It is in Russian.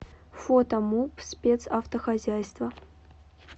фото муп спецавтохозяйство